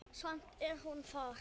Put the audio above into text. Samt er hún þar.